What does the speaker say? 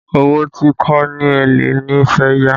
Owó tí kò ní èlé ni fẹ́ yá